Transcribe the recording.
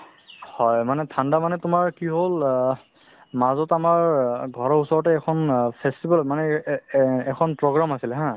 হয়, মানে ঠাণ্ডা মানে তোমাৰ কি হ'ল অহ্ মাজত আমাৰ ঘৰৰ ওচৰতে এখন অ festival মানে এ~ এ~ এখন program আছিলে haa